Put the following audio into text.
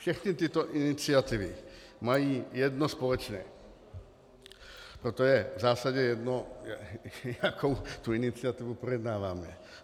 Všechny tyto iniciativy mají jedno společné, proto je v zásadě jedno, jakou tu iniciativu projednáváme.